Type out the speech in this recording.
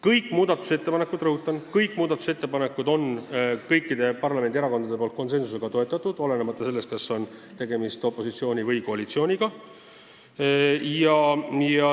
Kõiki neid – rõhutan, kõiki muudatusettepanekuid – on kõik parlamendi erakonnad konsensusega toetanud, olenemata sellest, kas on tegemist opositsiooni või koalitsiooniga.